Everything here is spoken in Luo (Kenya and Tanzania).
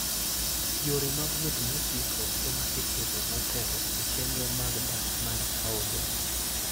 Yore mag wuoth mosiko ema iketo motelo e chenro mag dak mar taonde.